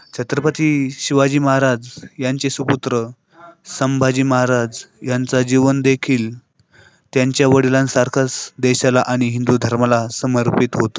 छत्रपति शिवाजी महाराज ह्यांचे सुपुत्र संभाजी महाराज यांचा जीवनदेखील त्यांच्या वडिलांसारखंच देशाला आणि हिंदू धर्माला समर्पित होत